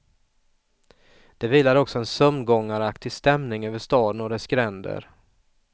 Det vilar också en sömngångaraktig stämning över staden och dess gränder.